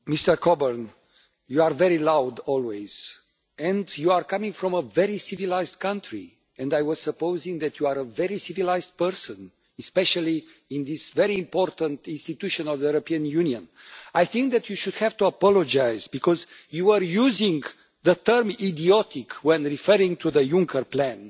Mr Coburn, you are always very loud, you come from a very civilised country and I had supposed that you were a very civilised person, especially in this very important institution of the European Union. I think that you should have to apologise because you were using the term idiotic' when referring to the Junker plan.